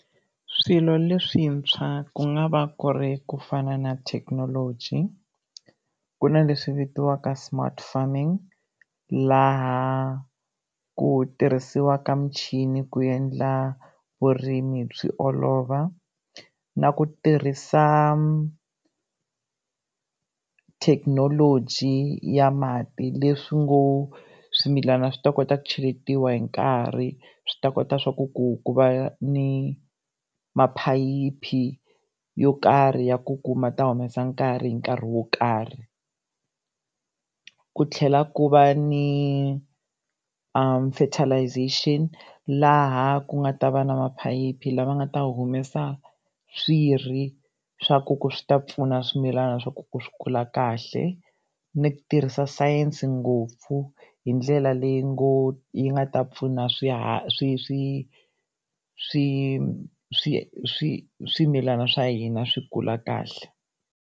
Swilo leswintshwa ku nga va ku ri ku fana na thekinoloji, ku na leswi vitaniwaka smart farming, laha ku tirhisiwaka muchini ku endla vurimi byi olova, na ku tirhisa thekinoloji ya mati, leswi ngo swimilana swi ta kota ku cheletiwa hi nkarhi, swi ta kota swa ku ku ku va ni maphayiphi yo karhi ya ku kuma ta humesa mati hi nkarhi wo karhi. Ku tlhela ku va ni fertilization laha ku nga ta va na maphayiphi lama nga ta humesa swi ri swa ku ku swi ta pfuna swimilana swa ku swi kula kahle. Ni ku tirhisa science ngopfu hi ndlela ley yi nga ta pfuna swi swi swi swi swimilana swa hina swi kula kahle.